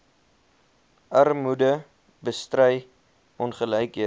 armoede bestry ongelykhede